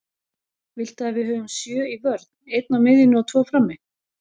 Viltu að við höfum sjö í vörn, einn á miðjunni og tvo frammi?